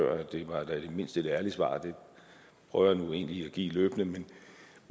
egentlig et ærligt svar det prøver jeg nu egentlig at give løbende men